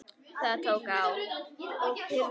Það tók á.